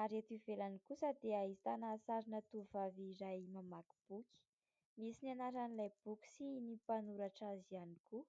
ary eto ivelany kosa dia ahitana sarina vehivavy iray mamaky boky, misy ny anaran'ilay boky sy ny mpanoratra azy ihany koa.